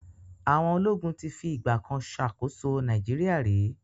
Àwọn ológun ti fi ìgbà kan ṣàkóso Nigeria rí.